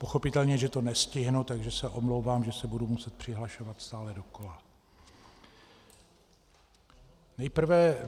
Pochopitelně že to nestihnu, takže se omlouvám, že se budu muset přihlašovat stále dokola.